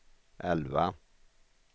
elva